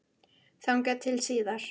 Þangað til síðar.